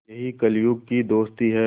यही कलियुग की दोस्ती है